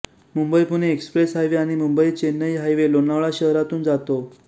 Mumbai Pune express highway आणि Mumbai Chennai highway Lonavala शहरातून जातो